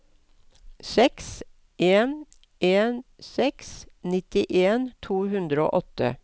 seks en en seks nittien to hundre og åtte